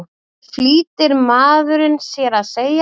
flýtir maðurinn sér að segja.